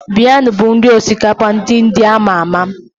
Biryani bụ nri osikapa ndị India ama ama